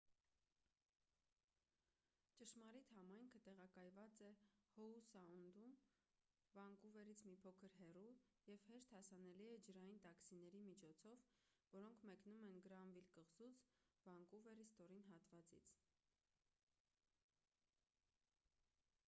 ճշմարիտ համայնքը տեղակայված է հոու սաունդում վանկուվերից մի փոքր հեռու և հեշտ հասանելի է ջրային տաքսիների միջոցով որոնք մեկնում են գրանվիլ կղզուց վանկուվերի ստորին հատվածից